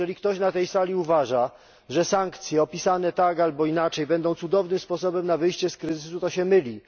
Jeżeli ktoś na tej sali uważa, że sankcje opisane tak albo inaczej będą cudownym sposobem na wyjście z kryzysu, to się myli.